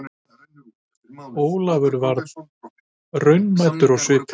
Ólafur og varð raunamæddur á svipinn.